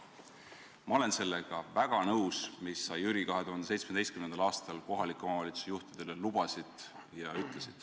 " Ma olen sellega väga nõus, mis sa, Jüri, 2017. aastal kohaliku omavalitsuse juhtidele lubasid.